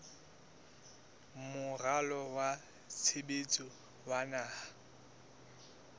moralo wa tshebetso wa naha